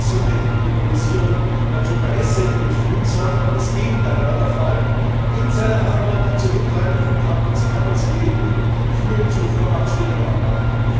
Laut Kommission hätte die Liberalisierung zu Preissenkungen führen sollen, aber das Gegenteil war der Fall. Insiderhandel, die Zurückhaltung von Kapazitäten führen zu Vormachtstellungen am Markt.